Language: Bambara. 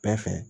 Bɛɛ fɛ